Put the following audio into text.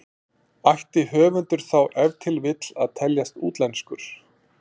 Ætti höfundur þá ef til vill að teljast útlenskur?